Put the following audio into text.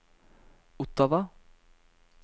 Ottawa